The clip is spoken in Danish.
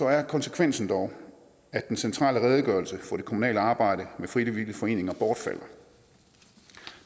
er konsekvensen dog at den centrale redegørelse for det kommunale arbejde med frivillige foreninger bortfalder